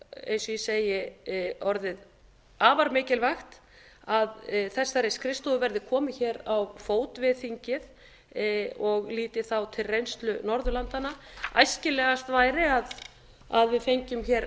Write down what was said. eins og ég segi orðið afar mikilvægt að þessari skrifstofu verði komið hér á fót við þingið og lít ég þá til reynslu norðurlandanna æskilegast væri að við fengjum hér